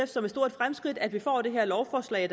som et stort fremskridt at vi får det her lovforslag